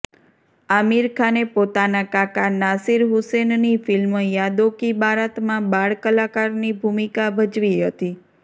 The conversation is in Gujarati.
આમિર ખાને પોતાના કાકા નાસિર હુસેનની ફિલ્મ યાદો કી બારાતમાં બાળ કલાકારની ભૂમિકા ભજવી હતી